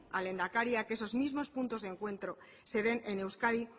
al lehendakari a que esos mismos puntos de encuentro se den en euskadi